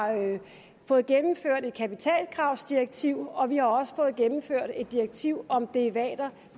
fået gennemført et kapitalkravsdirektiv og vi har også fået gennemført et direktiv om derivater